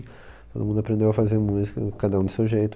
Todo mundo aprendeu a fazer música, cada um do seu jeito.